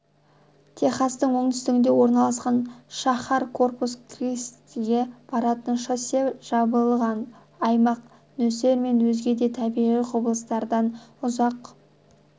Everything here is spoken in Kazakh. техастың оңтүстігінде орналасқан шаһар корпус-кристиге баратын шоссе жабылған аймақ нөсер мен өзге де табиғи құбылыстардан ұзақ